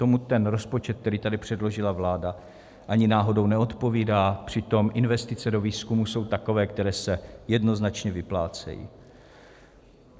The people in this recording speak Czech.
Tomu ten rozpočet, který tady předložila vláda, ani náhodou neodpovídá, přitom investice do výzkumu jsou takové, které se jednoznačně vyplácejí.